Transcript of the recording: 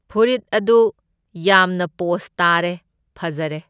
ꯐꯨꯔꯤꯠ ꯑꯗꯨ ꯌꯥꯝꯅ ꯄꯣꯁ ꯇꯥꯔꯦ ꯐꯖꯔꯦ꯫